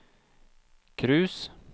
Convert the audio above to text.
cruise